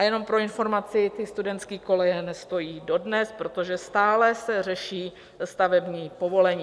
A jenom pro informaci, ty studentské koleje nestojí dodnes, protože stále se řeší stavební povolení.